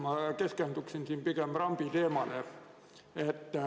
Ma keskendun pigem rambi teemale.